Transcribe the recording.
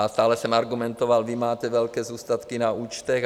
A stále jsem argumentoval: vy máte velké zůstatky na účtech.